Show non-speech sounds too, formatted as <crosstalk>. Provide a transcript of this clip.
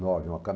nove <unintelligible>